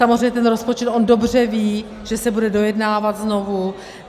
Samozřejmě ten rozpočet, on dobře ví, že se bude dojednávat znovu.